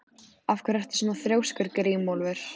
Af hverju ertu svona þrjóskur, Grímólfur?